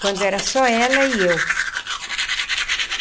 Quando era só ela e eu.